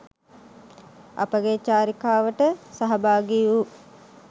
අපගේ චාරිකාවට සහභාගී වූ